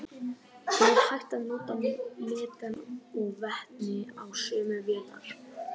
Er hægt að nota metan og vetni á sömu vélar?